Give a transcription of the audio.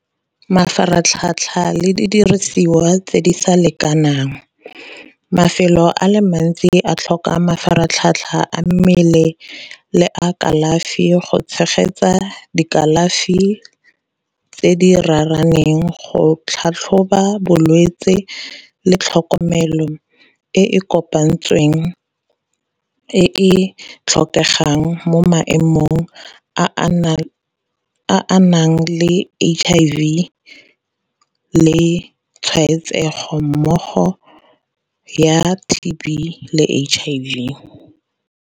Mafaratlhatlha le didirisiwa tse di sa lekanang, mafelo a le mantsi a tlhoka mafaratlhatlha a mmele le a kalafi go tshegetsa dikalafi tse di raraneng. Go tlhatlhoba bolwetse le tlhokomelo e e kopantsweng e e tlhokegang mo maemong a a nang le H_I_V le tshwaetsego mmogo ya T_B le H_I_V.